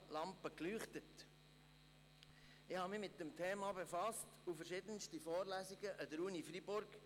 Ich befasste mich mit dem Thema und besuchte verschiedenste Vorlesungen an der Universität Freiburg.